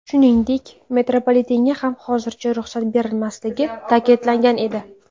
Shuningdek, metropolitenga ham hozircha ruxsat berilmasligi ta’kidlangan edi.